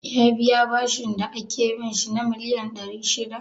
Ya biya bashin da ake bin shi na miliyan ɗari shida?